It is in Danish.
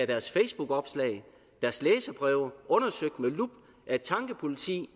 deres facebookopslag og deres læserbreve undersøgt med lup af et tankepoliti